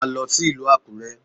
Máa lọ sí ìlú Àkúrẹ́!